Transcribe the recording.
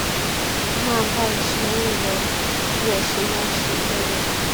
ẹ máa bá iṣẹ yín lọ bí ẹ ṣe máa ń ṣe tẹlẹ